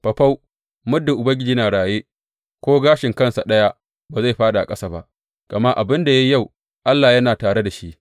Faufau, muddin Ubangiji yana raye, ko gashin kansa ɗaya ba zai fāɗi a ƙasa ba, gama abin da ya yi yau, Allah ne yana tare da shi.